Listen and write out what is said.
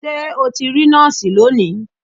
Ṣé o ti rí nọ́ọ̀sì lónìí?